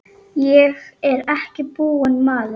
Ég er ekki búinn maður!